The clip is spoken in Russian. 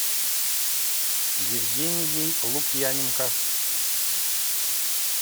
евгенией лукьяненко